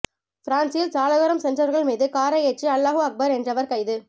பிரான்ஸில் சாலையோரம் சென்றவர்கள் மீது காரை ஏற்றி அல்லாஹு அக்பர் என்றவர் கைது